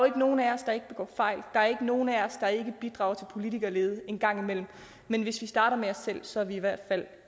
ikke nogen af os der ikke begår fejl der er ikke nogen af os der ikke bidrager til politikerlede en gang imellem men hvis vi starter med os selv så er vi i hvert fald